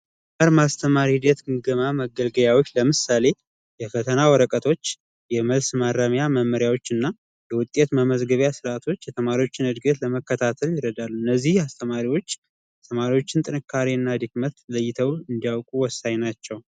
የመማር ማስተማር ሂደት ግምገማ መገምገሚያዎች ለምሳሌ የፈተና ወረቀቶች ፣የመልስ ማረሚያ መመሪያዎች እና የውጤት መመዝገቢያ ስርዓቶች የተማሪዎችን እድገት እድገት ለመከታተል ይረዳሉ። እነዚህ አስተማሪዎች ተማሪዎች ጥንካሬ እና ድክመት ለይተው እንዲያውቁ ወሳኝ ናቸው።